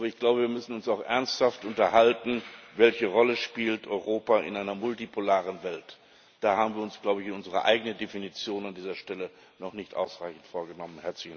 Aber ich glaube, wir müssen uns auch ernsthaft darüber unterhalten, welche Rolle Europa in einer multipolaren Welt spielt. Da haben wir uns, glaube ich, unsere eigene Definition an dieser Stelle noch nicht ausreichend vorgenommen.